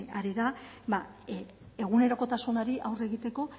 ari da egunerokotasunari aurre egiteko